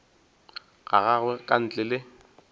ga gagwe ka ntle le